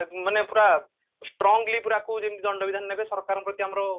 ଅ ମାନେ ପୁରା strongly ଯେମତି ଦଣ୍ଡ ବିଧାନ ନେବେ ସରକାରଙ୍କ ପ୍ରତି ଆମର